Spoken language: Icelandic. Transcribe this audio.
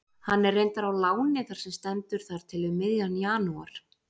Hann er reyndar á láni þar sem stendur þar til um miðjan janúar.